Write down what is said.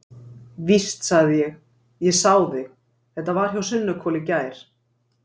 Víst, sagði ég, ég sá þig, þetta var hjá Sunnuhvoli í gær.